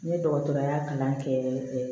Ne dɔgɔtɔrɔya kalan kɛ